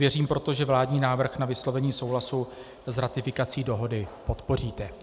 Věřím proto, že vládní návrh na vyslovení souhlasu s ratifikací dohody podpoříte.